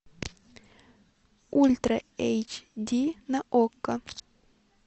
ультра эйч ди на окко